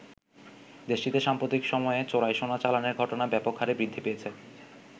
দেশটিতে সাম্প্রতিক সময়ে চোরাই সোনা চালানের ঘটনা ব্যাপক হারে বৃদ্ধি পেয়েছে।